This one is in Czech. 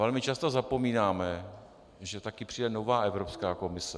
Velmi často zapomínáme, že taky přijde nová Evropská komise.